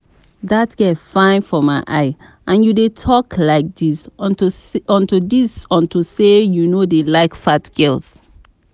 Dat girl fine for my eye and you dey talk like dis unto dis unto say you no dey like fat girls